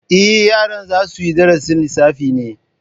Eh, yaran za suyi darasin lissafi ne yanzu